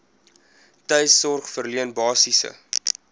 tuissorg verleen basiese